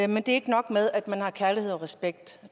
men det er ikke nok at man har kærlighed og respekt